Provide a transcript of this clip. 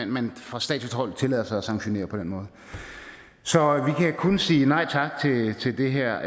man fra statsligt hold tillader sig at sanktionere på den måde så vi kan kun sige nej tak til det her